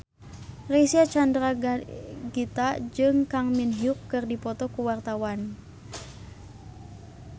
Reysa Chandragitta jeung Kang Min Hyuk keur dipoto ku wartawan